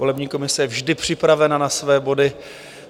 Volební komise je vždy připravena na své body.